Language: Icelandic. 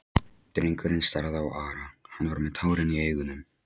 Drengurinn starði á Ara, hann var með tárin í augunum.